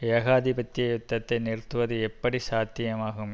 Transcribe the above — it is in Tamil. ஏகாதிபத்திய யுத்தத்தை நிறுத்துவது எப்படி சாத்தியமாகும்